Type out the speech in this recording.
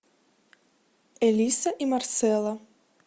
элиса и марсела